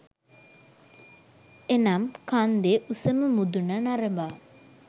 එනම් කන්දේ උසම මුදුන නරඹා